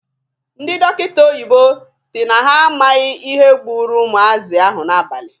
Ndị dọkịta oyibo si na ha amaghị ihe gburu ụmụazị ahụ n'abalị.